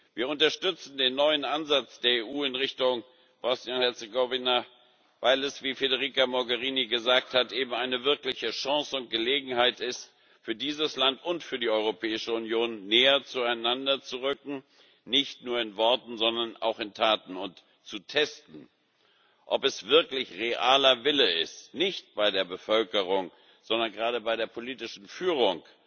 Wir unterstützen den neuen Ansatz der EU in Richtung Bosnien und Herzegowina, weil es, wie Federica Mogherini gesagt hat, eben eine wirkliche Chance und Gelegenheit ist für dieses Land und für die Europäische Union, näher zueinander zu rücken nicht nur in Worten, sondern auch in Taten und zu testen, ob es wirklich realer Wille ist nicht bei der Bevölkerung, sondern gerade bei der politischen Führung